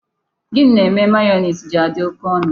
Gini na-eme mayonezi ji adị oké ọnụ?